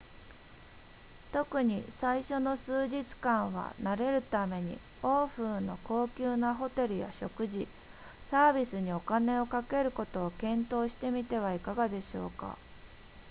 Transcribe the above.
特に最初の数日間は慣れるために欧風の高級なホテルや食事サービスにお金をかけることを検討してみてはいかがでしょうか